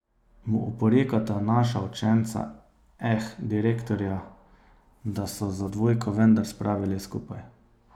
Mu oporekata naša učenca, eh, direktorja, da so za dvojko vendar spravili skupaj.